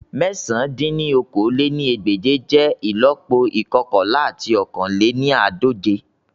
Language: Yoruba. Mẹ̀sán dín ní okòó-lé-ní-ẹgbẹ́je jẹ ìlọ́po ikọkanla ati ọ̀kan lé ní àádọ́je